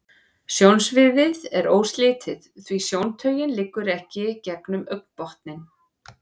Sjónsviðið er óslitið, því sjóntaugin liggur ekki gegnum augnbotninn.